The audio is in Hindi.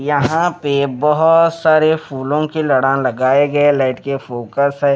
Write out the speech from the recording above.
यहाँ पे बहुत सारे फूलों की लड़ान लगाए गए लाइट के फोकस है।